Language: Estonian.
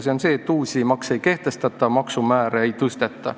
See sõnum on, et uusi makse ei kehtestata, maksumäärasid ei tõsteta.